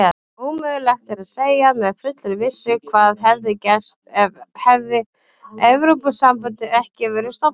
Ómögulegt er að segja með fullri vissu hvað hefði gerst hefði Evrópusambandið ekki verið stofnað.